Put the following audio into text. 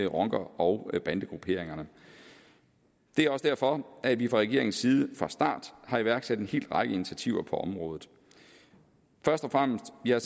rocker og bandegrupperingerne det er også derfor at vi fra regeringens side fra starten har iværksat en hel række initiativer på området først og fremmest har